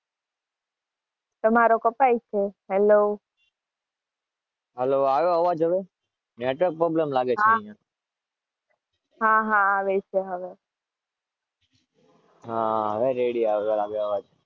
તમરઓ કપાય છે